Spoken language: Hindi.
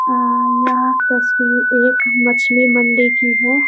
यहाँ यह तस्वीर एक मछली मंडी की है |